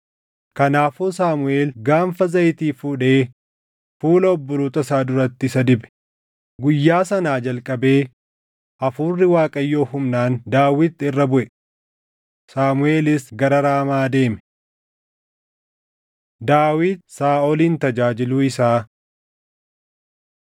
Kanaafuu Saamuʼeel gaanfa zayitii fuudhee fuula obboloota isaa duratti isa dibe; guyyaa sanaa jalqabee Hafuurri Waaqayyoo humnaan Daawit irra buʼe. Saamuʼeelis gara Raamaa deeme. Daawit Saaʼolin Tajaajiluu Isaa